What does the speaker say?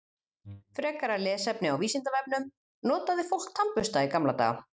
Frekara lesefni á Vísindavefnum: Notaði fólk tannbursta í gamla daga?